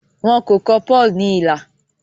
wón kò kọ Paul ní ilà